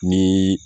Ni